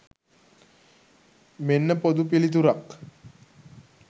මෙන්න පොදු පිළිතුරක්.